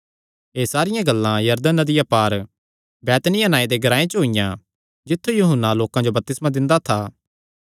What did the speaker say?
एह़ सारियां गल्लां यरदन नदिया पार बैतनिय्याह नांऐ दे ग्रांऐ च होईयां जित्थु यूहन्ना लोकां जो बपतिस्मा दिंदा था